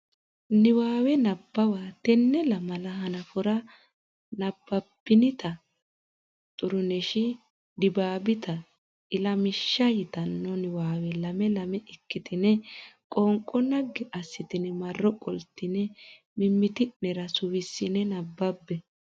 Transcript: Niwaawe Nabbawa Tenne lamala hanafora nabbabbinita Xuruneshi Dibaabite Ilamishsha yitanno niwaawe lame lame ikkitine qoonqo naggi assitine marro qoltine mimmiti nera suwissine nabbabbe.